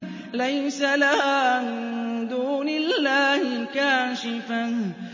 لَيْسَ لَهَا مِن دُونِ اللَّهِ كَاشِفَةٌ